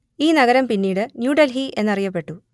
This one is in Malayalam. ഈ നഗരം പിന്നീട് ന്യൂ ഡെൽഹി എന്ന് അറിയപ്പെട്ടു